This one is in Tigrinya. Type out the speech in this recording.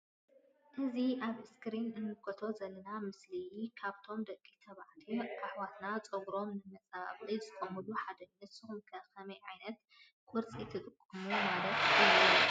እዚ አብ እስክሪን እንምልከቶ ዘለና ምስሊ ካብቶም ደቂ ተባዕትዮ አሕዋትና ፀጉሮም ንምፅባቅ ዝጥቀሙሉ ሓደ እዩ::ንስኩም ከ ከመይ ዓይነት ቁርፂ ትጥቀሙ ማለት እዩ::